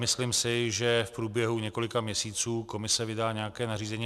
Myslím si, že v průběhu několika měsíců komise vydá nějaké nařízení.